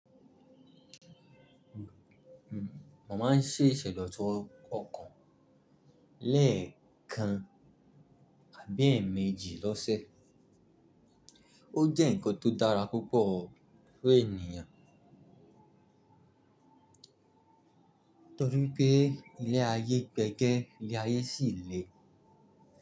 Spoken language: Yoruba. Mo má ń ṣèṣẹ̀ lọ to ọkọ̀ lẹ́ẹ̀kan àbí ẹ̀ẹ̀mejì l'ọ́sẹ̀. Ó jẹ́ ǹkan tó dára púpọ̀ fún ènìyàn torí pé ilẹ̀ ayé gbẹ́gẹ́ ilẹ̀ ayé sì le.